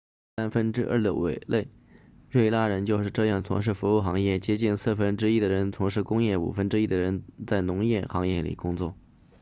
三分之二的委内瑞拉人就是这样从事服务行业接近四分之一的人从事工业五分之一的人在农业行业里工作